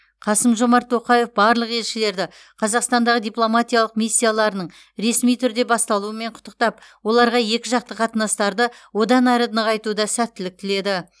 қасым жомарт тоқаев барлық елшілерді қазақстандағы дипломатиялық миссияларының ресми түрде басталуымен құттықтап оларға екіжақты қатынастарды одан әрі нығайтуда сәттілік тіледі